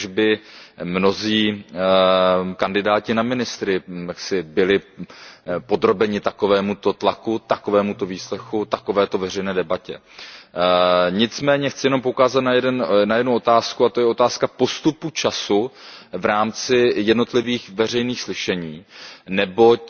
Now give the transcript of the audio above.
Kéž by mnozí kandidáti na ministry byli podrobeni takovémuto tlaku, takovémuto výslechu, takovéto veřejné debatě Nicméně chci poukázat na jednu otázku, a to je otázka postupu času v rámci jednotlivých veřejných slyšení, neboť